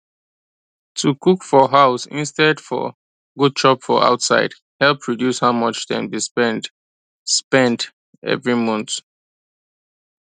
to cook for house instead for go chop for outside help reduce how much dem dey spend spend every month